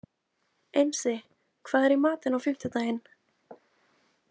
Einsi, hvað er í matinn á fimmtudaginn?